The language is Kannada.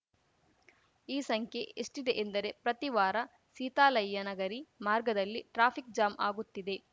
ಈ ಸಂಖ್ಯೆ ಎಷ್ಟಿದೆ ಎಂದರೆ ಪ್ರತಿ ವಾರ ಸೀತಾಲಯ್ಯನಗಿರಿ ಮಾರ್ಗದಲ್ಲಿ ಟ್ರಾಫಿಕ್‌ ಜಾಮ್‌ ಆಗುತ್ತಿದೆ